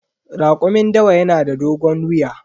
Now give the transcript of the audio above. Rakumin dawa yanada dogon wuya.